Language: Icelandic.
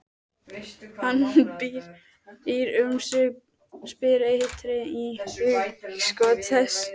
Hann býr um sig og spýr eitri í hugskot þess.